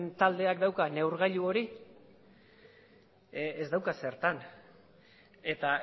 taldeak dauka neurgailu hori ez dauka zertan eta